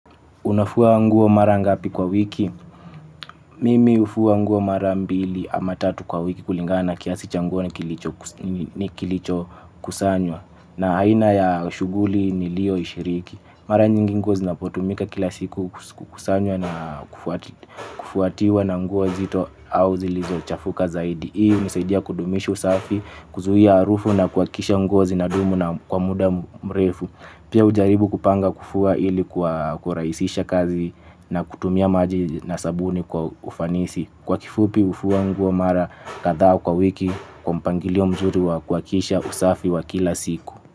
Unafua nguo mara ngapi kwa wiki? Mimi hufua nguo mara mbili ama tatu kwa wiki kulingana na kiasi cha nguo kilicho kusanywa. Na aina ya shughuli niliyoishiriki. Mara nyingi nguo zinapotumika kila siku hukusanywa na kufuatiwa na nguo nzito au zilizo chafuka zaidi. Hii hunisaidia kudumisha usafi, kuzuia harufu na kuhakikisha nguo zinadumu na kwa muda mrefu. Pia hujaribu kupanga, kufua ili kwa kurahisisha kazi na kutumia maji na sabuni kwa ufanisi. Kwa kifupi hufua nguo mara kadhaa kwa wiki kwa mpangilio mzuri wa kuhakisha usafi wa kila siku.